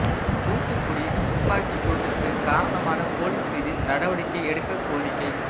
தூத்துக்குடி துப்பாக்கிச் சூட்டுக்கு காரணமான போலீஸ் மீது நடவடிக்கை எடுக்கக் கோரிக்கை